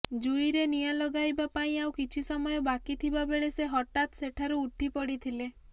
ଜୁଇରେ ନିଆଁ ଲଗାଇବା ପାଇଁ ଆଉ କିଛି ସମୟ ବାକି ଥିବା ବେଳେ ସେ ହଠାତ ସେଠାରୁ ଉଠିପଡ଼ିଥିଲେ